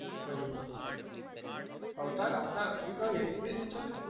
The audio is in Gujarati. કયું? અવતાર અવતાર એ કયું english picture?